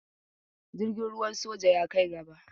Jirgin ruwan soja ya kai gaba.